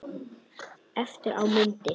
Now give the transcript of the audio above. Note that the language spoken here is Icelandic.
Eftir á mundi